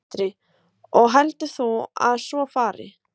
Sindri: Og heldur þú að svo fari?